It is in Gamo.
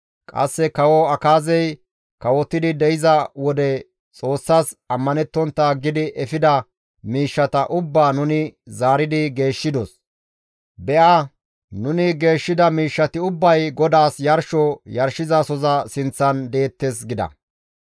Qasse Kawo Akaazey kawotidi de7iza wode Xoossas ammanettontta aggidi efida miishshata ubbaa nuni zaaridi geeshshidos; be7a nuni geeshshida miishshati ubbay GODAAS yarsho yarshizasoza sinththan deettes» gida.